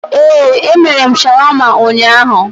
Ee, emere m shawama ụnyaahụ